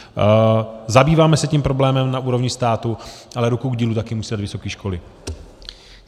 Zabýváme se tím problémem na úrovni státu, ale ruku k dílu také musí dát vysoké školy.